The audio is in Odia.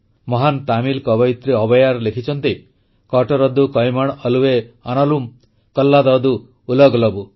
ମହାନ ତାମିଲ କବୟିତ୍ରୀ ଅବୈୟାର୍ ଲେଖିଛନ୍ତି କଟରଦୁ କୈମଣ ଅଲୱେ ଆନାଲୁମ୍ କଲ୍ଲାଦଦୁ ଉଲଗଲବୁ